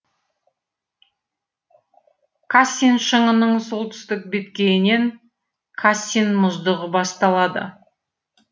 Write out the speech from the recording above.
кассин шыңының солтүстік беткейінен кассин мұздығы басталады